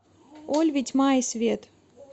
ольви тьма и свет